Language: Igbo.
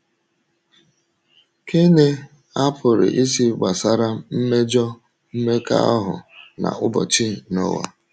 Kí ni a pụrụ ịsị gbasara mmejọ mmekọahụ n’ụbọchị Nọah?